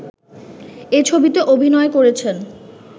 এ ছবিতে অভিনয় করেছেন